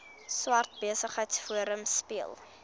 swart besigheidsforum speel